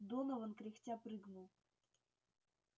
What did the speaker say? донован кряхтя прыгнул